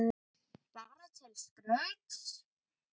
Bara til skrauts?